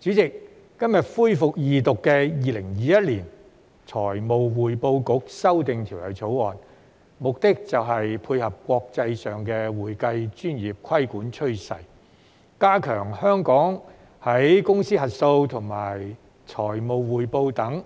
主席，今天恢復二讀的《2021年財務匯報局條例草案》，目的就是配合國際上的會計專業規管趨勢，加強香港在公司核數和財務匯報等方面，